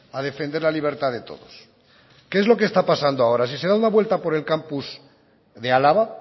a defender la libertad de todos qué es lo que está pasando ahora si se dan una vuelta por el campus de álava